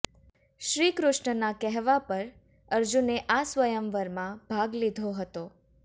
શ્રી કૃષ્ણના કહેવા પર અર્જુને આ સ્વયંવરમાં ભાગ લીધો હતો